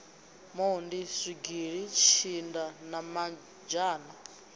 mondi zwigili tshinda na mazhana